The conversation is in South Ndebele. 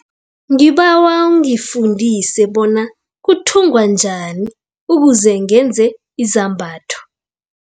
Ngibawa ungifundise bona kuthungwa njani ukuze ngenze izambatho.